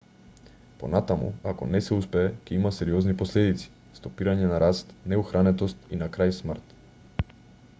понатаму ако не се успее ќе има сериозни последици стопирање на раст неухранетост и на крај смрт